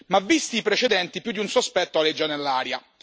Ma, visti i precedenti, più di un sospetto aleggia nell'aria.